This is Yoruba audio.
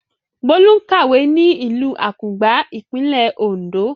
Bólú ń kàwé ní ìlú Àkùngbá, ìpínlẹ̀ Oǹdó.